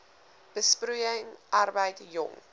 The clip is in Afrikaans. besproeiing arbeid jong